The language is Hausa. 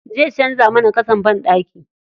Zai canza mana ƙasan banɗaki.